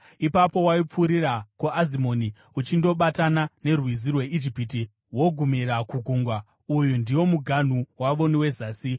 Ipapo waipfuurira kuAzimoni uchindobatana neRwizi rweIjipiti wogumira kugungwa. Uyu ndiwo muganhu wavo wezasi.